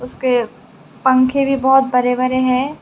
उसके पंखे भी बहुत बड़े बड़े हैं।